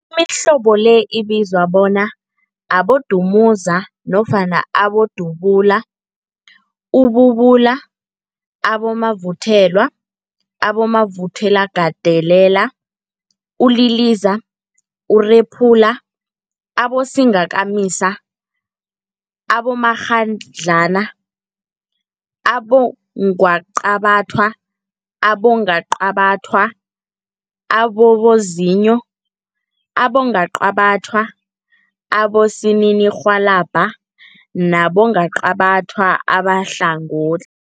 Imihlobo le ibizwa bona, Abodumuza nofana Abodubula, ububula, abomavuthelwa, abomavuthelwagandelela, uliliza, urephula, abosingakamisa, abomakghadlana, abongwaqabathwa, abongwaqabathwa ababozinyo, abongwaqabathwa abosininirhwalabha nabongwaqabatha abahlangot